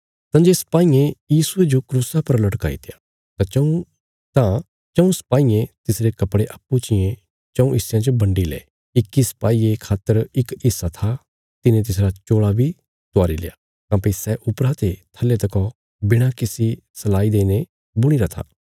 तंजे सिपाईयें यीशुये जो क्रूसा पर लटकाईत्या तां चऊँ सिपाईयें तिसरे कपड़े अप्पूँ चियें चऊँ हिस्यां च बंडी ले इक्की सपाईये खातर इक हिस्सा था तिने तिसरा चोल़ा बी त्वारील्या काँह्भई सै उपरा ते थल्ले तकौ बिणा किसी सलाई देईने बुणीरा था